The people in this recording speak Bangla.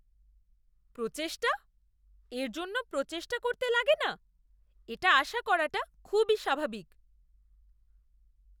প্রচেষ্টা? এর জন্য প্রচেষ্টা করতে লাগে না, এটা আশা করাটা খুবই স্বাভাবিক।